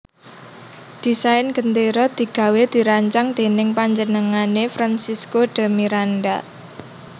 Desain gendéra digawé dirancang dèning panjenengané Francisco de Miranda